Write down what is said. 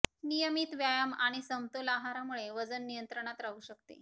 नियमित व्यायाम आणि समतोल आहारामुळे वजन नियंत्रणात राहू शकते